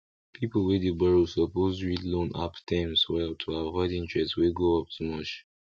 people wey dey borrow suppose read loan app terms well to avoid interest wey go up too much